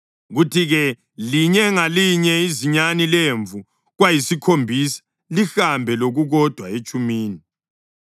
kuthi-ke linye ngalinye izinyane lemvu kwayisikhombisa, lihambe lokukodwa etshumini.